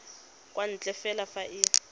kwa ntle fela fa e